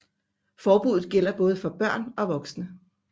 Forbuddet gælder både for børn og voksne